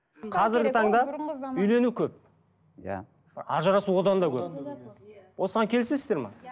қазіргі таңда үйлену көп иә ажырасу одан да көп осыған келісесіздер ме иә